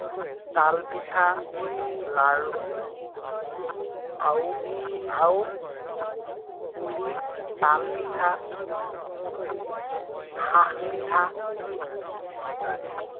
তাল পিঠা, লাল আৰু আৰু পুলি তাল পিঠা, পিঠা ইত্যাদি